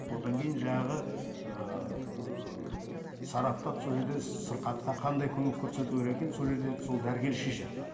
одан кейін жаңағы ыыы сараптап сол жерде сырқатқа қандай көмек көрсету керек екенін сол жерде сол дәрігер шешеді